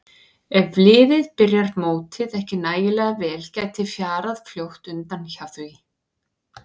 Ef liðið byrjar mótið ekki nægilega vel gæti fjarað fljótt undan hjá því.